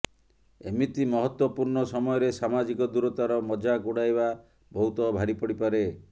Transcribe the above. ଏମିତି ମହତ୍ବପୂର୍ଣ୍ଣ ସମୟରେ ସାମାଜିକ ଦୂରତାର ମଜାକ ଉଡାଇବା ବହୁତ ଭାରି ପଡିପାରେ